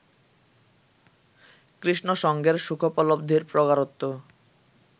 কৃষ্ণসঙ্গের সুখোপলব্ধির প্রগাঢ়ত্ব